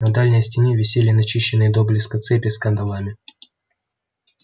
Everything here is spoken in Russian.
на дальней стене висели начищенные до блеска цепи с кандалами